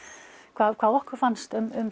hvað hvað okkur fannst um